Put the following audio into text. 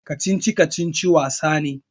Kacici-kacici wani wasa ne.